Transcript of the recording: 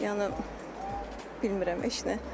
Yəni bilmirəm heç nə.